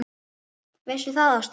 Veistu það, Ásta!